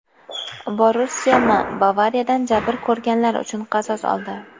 "Borussiya M" "Bavariya"dan jabr ko‘rganlar uchun qasos oldi.